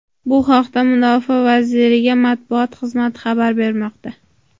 Bu haqda Mudofaa vazirligi matbuot xizmati xabar bermoqda.